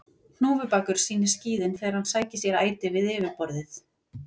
Hnúfubakur sýnir skíðin þegar hann sækir sér æti við yfirborðið.